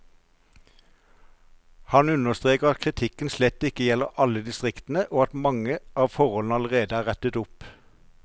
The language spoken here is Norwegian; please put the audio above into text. Han understreker at kritikken slett ikke gjelder alle distriktene, og at mange av forholdene allerede er rettet opp.